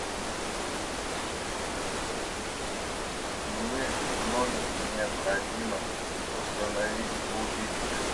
мне в номере необходимо установить будильник